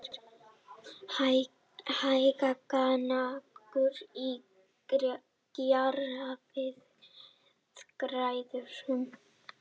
Hægagangur í kjaraviðræðum